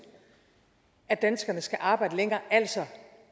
at danskerne skal arbejde længere altså